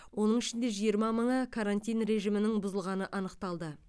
оның ішінде жиырма мыңы карантин режимінің бұзылғаны анықталды